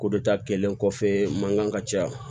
Ko dɔ ta kɛlen kɔfɛ mankan ka ca